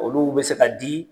Olu bɛ se ka di